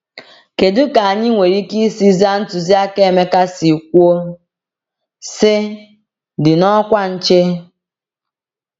Kedu ka anyị nwere ike isi zaa ntụziaka Emeka si kwuo, sị “dị n’ọkwa nche”?